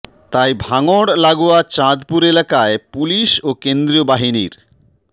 তাই ভাঙড় লাগোয়া চাঁদপুর এলাকায় পুলিশ ও কেন্দ্রীয় বাহিনীর